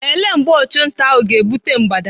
Ele mgbe ọchụnta ahụ ga-egbute mgbada?